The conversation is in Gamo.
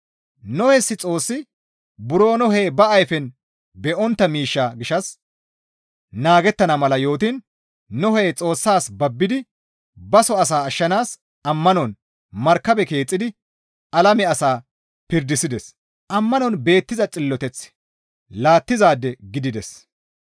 Nohes Xoossi buro Nohey ba ayfen be7ontta miishshaa gishshas naagettana mala yootiin Nohey Xoossas babbidi baso asa ashshanaas ammanon markabe keexxidi alame asaa pirdisides; ammanon beettiza xilloteth laattizaade gidides.